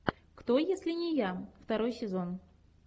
кто если не я второй сезон